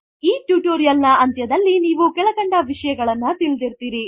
1 ಈ ಟುಟೋರೀಯಲ್ ನ ಅಂತ್ಯದಲ್ಲಿ ನೀವು ಕೆಳಕಂಡ ವಿಷಯಗಳನ್ನು ತಿಳಿದಿರುತ್ತೀರಿ